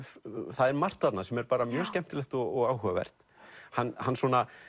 það er margt þarna sem er bara mjög skemmtilegt og áhugavert hann hann